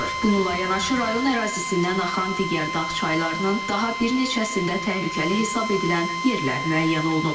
Bununla yanaşı rayon ərazisindən axan digər dağ çaylarının daha bir neçəsində təhlükəli hesab edilən yerlər müəyyən olunub.